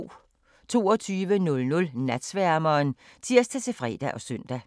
22:00: Natsværmeren (tir-fre og søn)